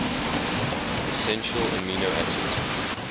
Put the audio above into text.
essential amino acids